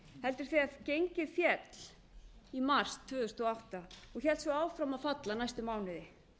heldur þegar gengið féll í mars tvö þúsund og átta og hélt svo áfram að falla næstu mánuði